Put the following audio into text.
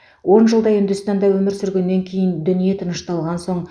он жылдай үндістанда өмір сүргеннен кейін дүние тынышталған соң